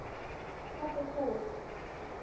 Pabbi kúl!